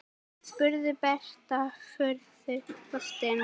spurði Berta furðu lostin.